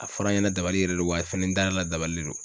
A fɔra n ɲɛna dabali yɛrɛ de don wa fɛnɛ n dar'a la dabali le don.